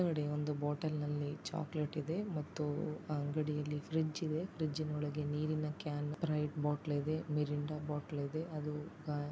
ಒಳಗಡೆ ಒಂದು ಬಾಟಲ್ ನಲ್ಲಿ ಚಾಕೊಲೇಟ್ ಇದೆ ಮತ್ತು ಆ ಅಂಗಡಿ ಅಲ್ಲಿ ಫ್ರಿಡ್ಜ್ ಇದೆ. ಫ್ರಿಡ್ಜ್ ನ ಒಳಗೆ ನೀರಿನ ಕ್ಯಾನ್ ಸ್ಪ್ರೈಟ್ ಬಾಟಲ್ ಇದೆ ಮಿರಿಂಡ ಬಾಟಲ್ ಇದೆ ಅದು ಅಹ್ --